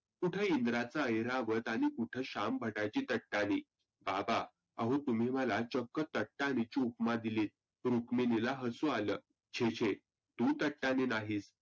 कुठे इंद्राचा ऐरावत आणि कुठं शाम भटाची टटानी. बाबा आहो तुम्ही मला चक्क टटानी ची उपमा दिली. रुक्मिनीला हसु आलं. छे छे तु टटानी नाहीस